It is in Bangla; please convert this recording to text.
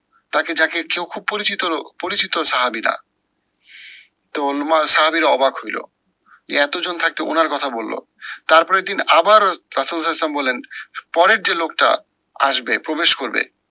তাকে যাকে চক্ষু পরিচিত লোক পরিচিত সাহাবী রা তো লুমা সাহাবীরা অবাক হইলো। এ এত জন থাকতে উনার কথা বললো। তার পরের দিন আবার বললেন পরের যে লোকটা আসবে প্রবেশ করবে